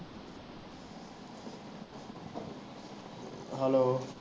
Hello